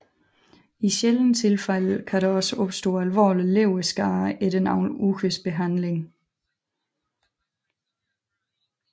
I sjældne tilfælde kan der opstå alvorlig leverskade efter nogle ugers behandling